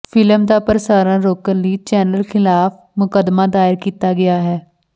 film ਦਾ ਪ੍ਸਾਰਣ ਰੋਕਣ ਲਈ ਚੈਨਲ ਖ਼ਿਲਾਫ਼ ਮੁਕੱਦਮਾ ਦਾਇਰ ਕੀਤਾ ਗਿਆ ਹੈ